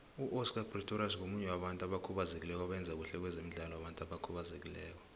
uoscar pistorius ngomunye wabantu abakhubazekileko abayenza khuhle kwezemidlalo wabantu abakhubazekileko